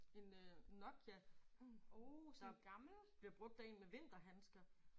En øh Nokia der bliver brugt af én med vinterhandsker